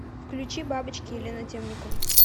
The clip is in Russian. включи бабочки елена темникова